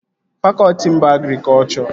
Fakọtị m bụ agrikọchọ